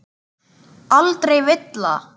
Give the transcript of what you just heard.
Aldrei villa.